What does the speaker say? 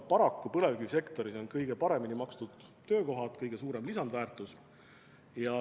Paraku on põlevkivisektoris kõige paremini makstud töökohad, kõige suurem lisandväärtus.